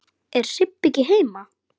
Er Sibba ekki heima?